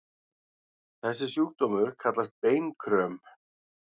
Þessi sjúkdómur kallast beinkröm.